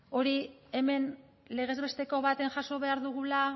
hori hemen legez besteko batean jaso behar dugula